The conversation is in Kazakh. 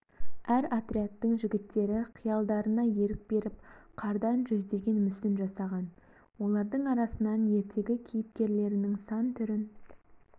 әр отрядтың жігіттері қиялдарына ерік беріп қардан жүздеген мүсін жасаған олардың арасынан ертегі кейіпкерлерінің сан түрін